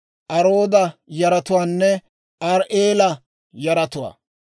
Arooda yaratuwaanne Ari"eela yaratuwaa.